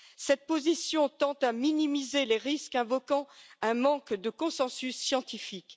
Cette position tend à minimiser les risques, invoquant un manque de consensus scientifique.